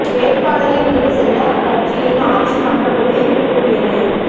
வேட்பாளரை முடிவு செய்ய அக்கட்சியின் ஆட்சி மன்றக்குழு இன்று கூடியது